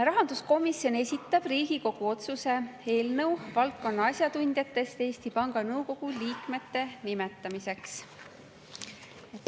Rahanduskomisjon esitab Riigikogu otsuse eelnõu valdkonna asjatundjatest Eesti Panga Nõukogu liikmete nimetamiseks.